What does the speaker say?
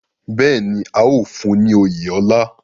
Bẹ́ẹ̀ ni, a óò fún un ní oyè ọlá